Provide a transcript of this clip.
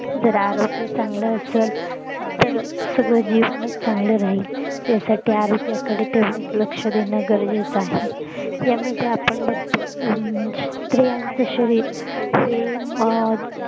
जर आरोग्य चांगलं असेल तर सगळं जीवनचं चांगल राहील यासाठी आरोग्याकडे तेवढचं लक्ष देणं गरजेच आहे यामध्ये आपण बघतो स्त्रियांच शरीर